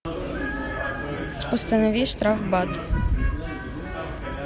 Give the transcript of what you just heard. установи штрафбат